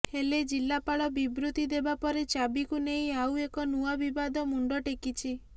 ହେଲେ ଜିଲ୍ଲାପାଳ ବିବୃତି ଦେବା ପରେ ଚାବିକୁ ନେଇ ଆଉ ଏକ ନୂଆ ବିବାଦ ମୁଣ୍ଡ ଟେକିଛି